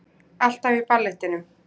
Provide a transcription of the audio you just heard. Alltaf í ballettinum